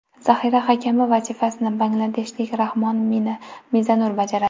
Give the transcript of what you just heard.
Zaxira hakami vazifasini bangladeshlik Rahmon Mizanur bajaradi.